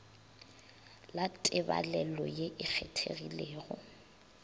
la tebalelo ye e kgethegilego